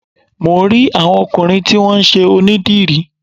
Mò ń rí àwọn ọkùnrin tí wón ṣe onídìrí.